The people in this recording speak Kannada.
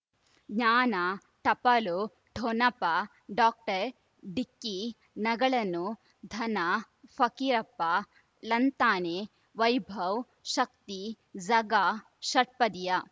ಜ್ಞಾನ ಟಪಾಲು ಠೊಣಪ ಡೋಕ್ಟರ್ ಢಿಕ್ಕಿ ಣಗಳನು ಧನ ಫಕೀರಪ್ಪ ಳಂತಾನೆ ವೈಭವ್ ಶಕ್ತಿ ಝಗಾ ಷಟ್ಪದಿಯ